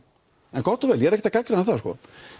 en gott og vel ég er ekkert að gagnrýna það sko